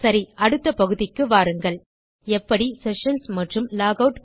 சரி அடுத்த பகுதிக்கு வாருங்கள் எப்படி செஷன்ஸ் மற்றும் லாக் ஆட் பேஜ் உருவாக்குவது என்று பார்க்கலாம்